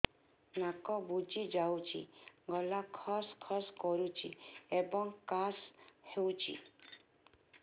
ନାକ ବୁଜି ଯାଉଛି ଗଳା ଖସ ଖସ କରୁଛି ଏବଂ କାଶ ହେଉଛି